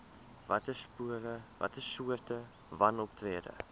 watter soorte wanoptrede